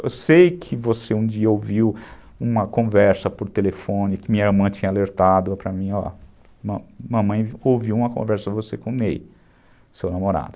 Eu sei que você um dia ouviu uma conversa por telefone que minha mãe tinha alertado para mim, ó. Mamãe ouviu uma conversa de você com o Ney, seu namorado.